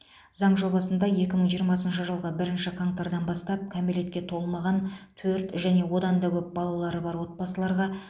заң жобасында екі мың жиырмасыншы жылғы бірінші қаңтардан бастап кәмелетке толмаған төрт және одан да көп балалары бар отбасыларға